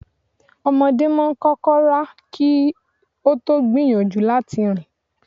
Ọmọdé máa ń kọ́kọ́ rá kí ó tó gbìyànjú láti rìn.